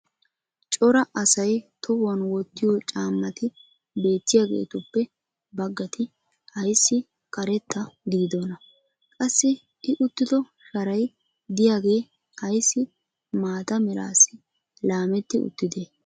cora asay tohuwan wottiyo caamati beettiyaagetuppe bagati ayssi karetta gididdonaa? Qassi i uttido sharay diyaagee ayssi maata meraassi lametti uttidee?